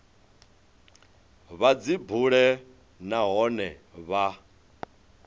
vha dzi bule nahone vha